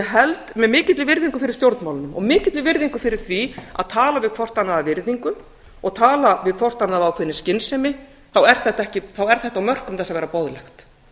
held að með mikilli virðingu fyrir stjórnmálunum og mikilli virðingu fyrir því að tala við hvort annað af virðingu og tala við hvort annað af ákveðinni skynsemi þá er þetta á mörkum þess að vera boðlegt